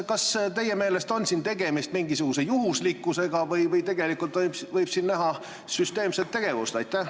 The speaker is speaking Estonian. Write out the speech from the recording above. Kas teie meelest on siin tegemist mingisuguse juhuslikkusega või võib siin näha süsteemset tegevust?